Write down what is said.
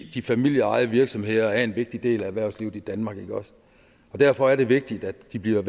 de familieejede virksomheder er en vigtig del af erhvervslivet i danmark og derfor er det vigtigt at de bliver